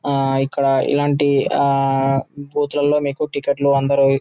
ఆ ఇక్కడ ఇలాంటి ఆ బూత్ లలో మీకు టికెట్ లు